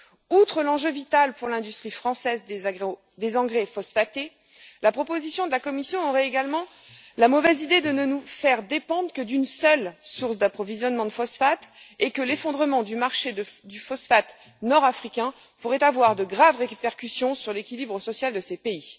Outre l'enjeu vital pour l'industrie française des engrais phosphatés, la proposition de la Commission aurait également la mauvaise idée de ne nous faire dépendre que d'une seule source d'approvisionnement de phosphates et l'effondrement du marché du phosphate nord africain pourrait avoir de graves répercussions sur l'équilibre social de ces pays.